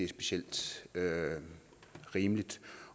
specielt rimeligt